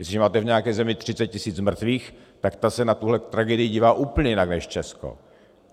Jestliže máte v nějaké zemi 30 tisíc mrtvých, tak ta se na tuhle tragédii dívá úplně jinak, než Česko.